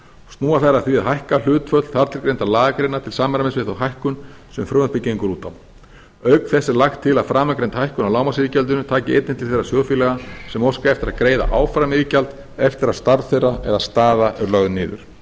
snúa þær að því að hækka hlutföll þartilgreindra lagagreina til samræmis við þá hækkun sem frumvarpið gengur út á auk þess er lagt til að framangreind hækkun á lágmarksiðgjaldinu taki einnig til þeirra sjóðfélaga sem óska eftir að greiða áfram iðgjald eftir að starf þeirra eða staða er lögð niður